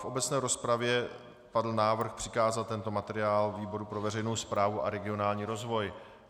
V obecné rozpravě padl návrh přikázat tento materiál výboru pro veřejnou správu a regionální rozvoj.